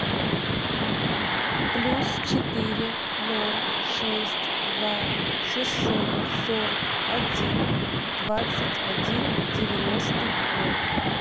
плюс четыре ноль шесть два шестьсот сорок один двадцать один девяносто ноль